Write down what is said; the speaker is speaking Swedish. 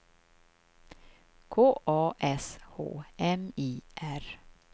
K A S H M I R